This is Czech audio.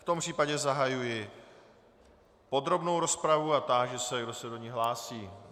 V tom případě zahajuji podrobnou rozpravu a táži se, kdo se do ní hlásí.